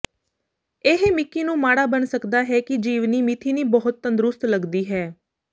ਇਹ ਮਿਕੀ ਨੂੰ ਮਾੜਾ ਬਣਾ ਸਕਦਾ ਹੈ ਕਿ ਜੀਵਨੀ ਮਿਥੀਨੀ ਬਹੁਤ ਤੰਦਰੁਸਤ ਲੱਗਦੀ ਹੈ